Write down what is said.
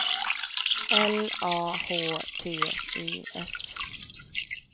L A H T I S